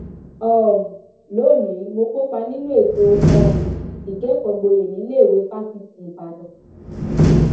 um lónìí mo kópa nínú ètò um ìkẹkọọgboyè níléèwé fáṣítì ìbàdàn